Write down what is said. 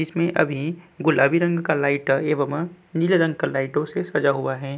इसमें अभी गुलाबी रंग का लाइट एवं नीले रंग का लाइटों से सजा हुआ हैं।